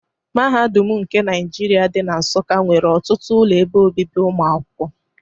Mahadum nke Naijiria dị na Nsukka nwere ọtụtụ ụlọ ebe obibi ụmụakwụkwọ.